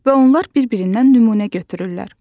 Onlar bir-birindən nümunə götürürlər.